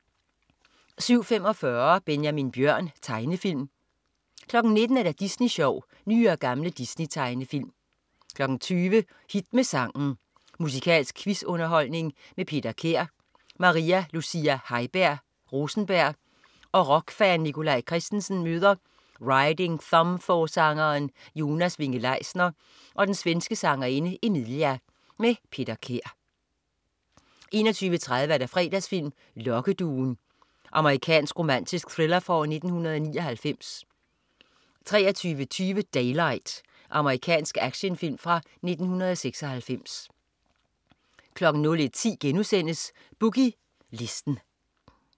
17.45 Benjamin Bjørn. Tegnefilm 19.00 Disney Sjov. Nye og gamle Disney-tegnefilm 20.00 Hit med sangen. Musikalsk quiz-underholdning. Peter Kær. Maria Lucia Heiberg Rosenberg og rockfan Nikolaj Christensen møder Riding Thumb-forsangeren Jonas Winge-Leisner og den svenske sangerinde Emilia. Peter Kær 21.30 Fredagsfilm: Lokkeduen. Amerikansk romantisk thriller fra 1999 23.20 Daylight. Amerikansk actionfilm fra 1996 01.10 Boogie Listen*